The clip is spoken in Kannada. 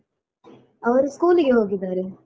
ಅವರು ಸ್ಕೂಲಿಗೆ ಹೋಗಿದ್ದಾರೆ.